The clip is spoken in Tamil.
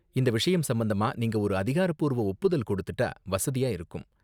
இந்த விஷயம் சம்பந்தமா நீங்க ஒரு அதிகாரப்பூர்வ ஒப்புதல் கொடுத்துட்டா வசதியா இருக்கும்.